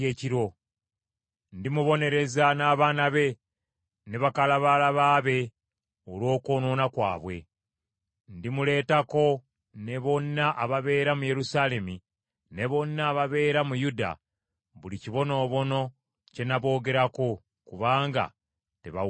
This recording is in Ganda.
Ndimubonereza n’abaana be, ne bakalabaalaba be olw’okwonoona kwabwe. Ndimuleetako ne bonna ababeera mu Yerusaalemi ne bonna ababeera mu Yuda buli kibonoobono kye naboogerako, kubanga tebawulirizza.’ ”